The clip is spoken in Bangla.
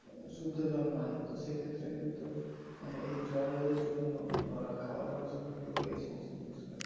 মানে শুদ্ধ জল নয়, তো সেক্ষেত্রে কিন্তু মানে এই জলের জন্য বা খাওয়া দাওয়ার জন্য কিন্তু এই সমস্ত জিনিসগুলো